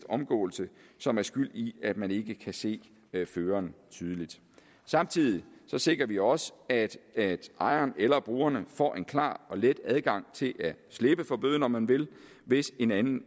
omgåelse som er skyld i at man ikke kan se føreren tydeligt samtidig sikrer vi også at at ejeren eller brugerne får en klar og let adgang til at slippe for bøden om man vil hvis en anden